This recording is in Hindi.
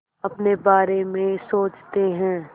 अपने बारे में सोचते हैं